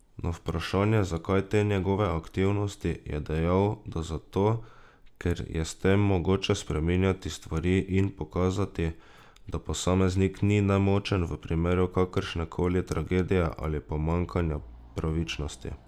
Na vprašanje, zakaj te njegove aktivnosti, je dejal, da zato, ker je s tem mogoče spreminjati stvari in pokazati, da posameznik ni nemočen v primeru kakršnekoli tragedije ali pomanjkanja pravičnosti.